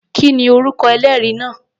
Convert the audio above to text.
Kí ni orúkọ ẹlẹ́rìí náà?